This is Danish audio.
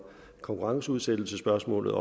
konkurrenceudsættelse spørgsmålet